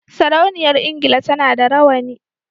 Sarauniyar engila tAna da rawani